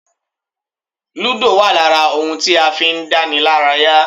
Ludo wa lára ohun tí a fi ń dánilaraya.